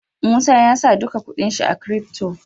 Musa yasa duka kuɗin shi a crypto